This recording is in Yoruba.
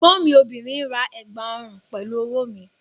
Ẹ̀gbọ́n mi obìnrin ra ẹ̀gbà ọrùn pẹ̀lú owó mi